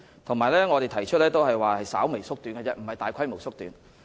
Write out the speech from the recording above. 我們只是提出稍微縮短，而非大規模縮短。